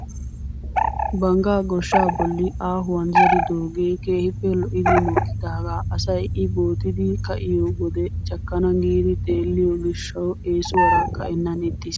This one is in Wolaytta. Banggaa gooshshaa bolli aahuwaan zeridoogee keehippe lo"idi mokkidaagaa asay i bootidi ka'iyoo wode cakkana giidi xelliyoo gishshawu eesuwaara ka"ennan ixxiis.